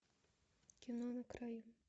кино на краю